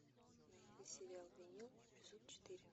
найди сериал винил эпизод четыре